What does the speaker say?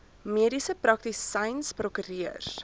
mediese praktisyns prokureurs